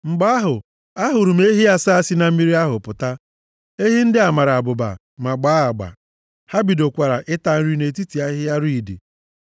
Mgbe ahụ, ahụrụ m ehi asaa si na mmiri ahụ pụta. Ehi ndị a mara abụba, ma gbaa agba. Ha bidokwara ịta nri nʼetiti ahịhịa riidi. + 41:18 Ahịhịa riidi bụ ahịhịa na-epu nʼakụkụ osimiri Naịl